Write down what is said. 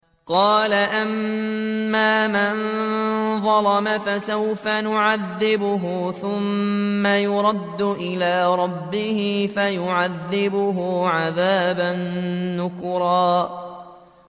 قَالَ أَمَّا مَن ظَلَمَ فَسَوْفَ نُعَذِّبُهُ ثُمَّ يُرَدُّ إِلَىٰ رَبِّهِ فَيُعَذِّبُهُ عَذَابًا نُّكْرًا